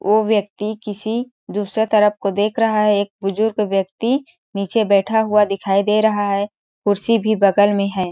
ओ व्यक्ति किसी दूसरे तरफ को देख रहा है एक बुजुर्ग व्यक्ति नीचे बैठा हुआ दिखाई दे रहा है कुर्सी भी बगल में है।